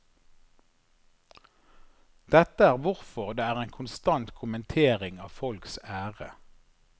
Dette er hvorfor det er en konstant kommentering av folks ære.